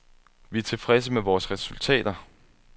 Vi er tilfredse med vores resultater.